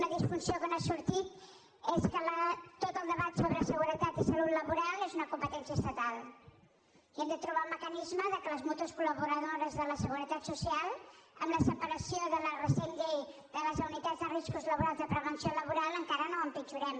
una disfunció que no ha sortit és que tot el debat sobre seguretat i salut laboral és una competència estatal i hem de trobar un mecanisme que les mútues col·laboradores de la seguretat social amb la separació de la recent llei de les unitats de riscos laborals de prevenció laboral encara no ho empitjorem